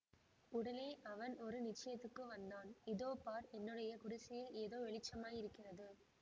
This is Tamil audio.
உடனே அவன் ஒரு நிச்சயத்துக்கு வந்தான் இதோ பார் என்னுடைய குடிசையில் ஏதோ வெளிச்சமாய் இருக்கிறது